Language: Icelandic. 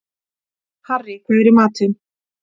Harrý, hvað er í matinn?